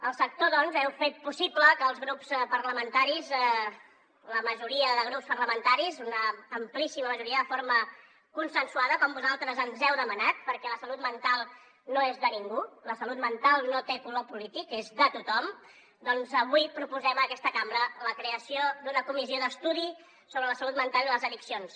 el sector doncs heu fet possible que els grups parlamentaris la majoria de grups parlamentaris una amplíssima majoria de forma consensuada com vosaltres ens heu demanat perquè la salut mental no és de ningú la salut mental no té color polític és de tothom doncs avui proposem a aquesta cambra la creació d’una comissió d’estudi sobre la salut mental i les addiccions